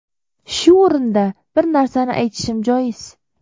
Shu o‘rinda bir narsani aytishim joiz.